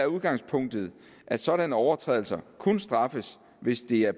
udgangspunktet at sådanne overtrædelser kun straffes hvis de er